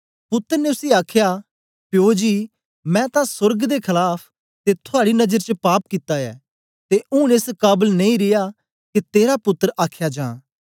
पुत्तर ने उसी आखया प्यो जी मैं तां सोर्ग दे खलाफ ते थुआड़ी नजर च पाप कित्ता ऐ ते ऊन एस काबल नेई रिया के तेरा पुत्तर आख्या जां